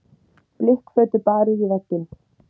Blikkfötu barið í vegginn.